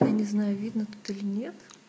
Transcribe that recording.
я не знаю видно тут или нет